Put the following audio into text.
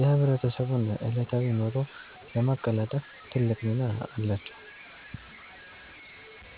የህብረተሰቡን ዕለታዊ ኑሮ ለማቀላጠፍ ትልቅ ሚና አላቸው።